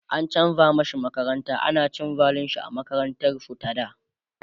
an chanza mashi makaranta, ana ta cin zalinshi a makarantar su ta da